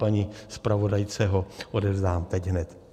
Paní zpravodajce ho odevzdám teď hned.